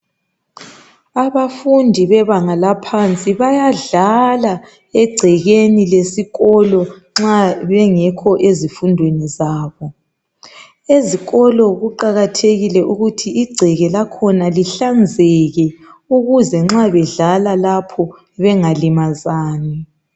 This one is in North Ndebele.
Abafundi bebanga laphansi bayadlala egcekeni lesikolo nxa bengokho ezifundweni zabo ezikolo kuqakathekile ukuthi igceke lakhona lihlanzeke ukuze nxa bedlala lapho bengalimazani